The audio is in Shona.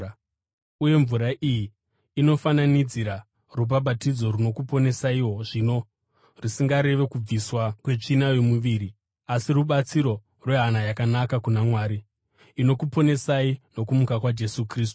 uye mvura iyi inofananidzira rubhabhatidzo runokuponesaiwo zvino, rusingarevi kubviswa kwetsvina yomuviri asi rubatso rwehana yakanaka kuna Mwari. Inokuponesai nokumuka kwaJesu Kristu,